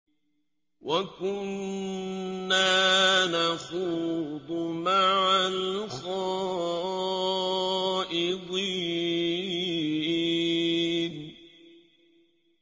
وَكُنَّا نَخُوضُ مَعَ الْخَائِضِينَ